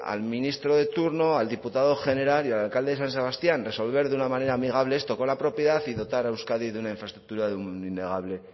al ministro de turno al diputado general y al alcalde de san sebastián resolver de una manera amigable esto con la propiedad y dotar a euskadi de una infraestructura de un innegable